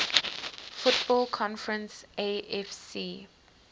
football conference afc